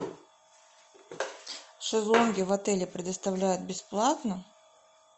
шезлонги в отеле предоставляют бесплатно